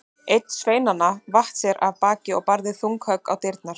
Einn sveinanna vatt sér af baki og barði þung högg á dyrnar.